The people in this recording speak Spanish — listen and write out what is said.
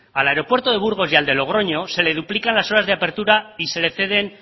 al aeropuerto de burgos y al de logroño se le duplican las horas de apertura y se le ceden